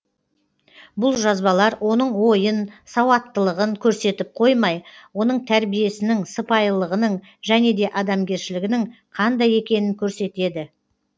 бұл жазбалар оның ойын сауаттылығын көрсетіп қоймай оның тәрбиесінің сыпайылығының және де адамгершілігінің қандай екендігін көрсетеді